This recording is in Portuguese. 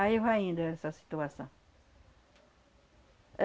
Aí vai indo essa situação.